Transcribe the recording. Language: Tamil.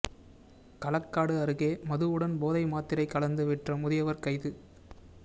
களக்காடு அருகே மதுவுடன் போதை மாத்திரை கலந்து விற்ற முதியவர் கைது